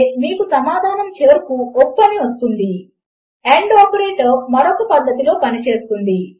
మీరు ఇంతకు ముందు బహుశా ఒక వెబ్ సైట్ లోకి లాగిన్ అయి ఉండవచ్చు మరియు అది మిమ్మల్ని మీ యూజర్నేమ్ మరియు పాస్వర్డ్ లను ఎంటర్ చేయమని అడుగుతుంది